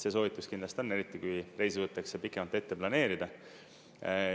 See soovitus kindlasti on, eriti kui reisi võetakse pikemalt ette planeerida.